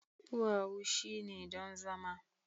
duwawu shine don zama